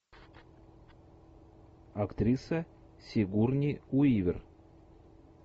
актриса сигурни уивер